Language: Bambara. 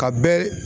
Ka bɛɛ